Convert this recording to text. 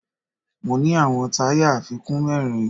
Mo ní àwọn táyà àfikún mẹ́rin